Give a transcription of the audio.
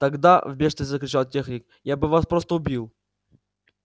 тогда в бешенстве закричал техник я бы вас просто убил